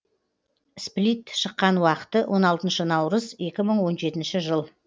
сплит шыққан уақыты он алтыншы наурыз екі мың он жетінші жыл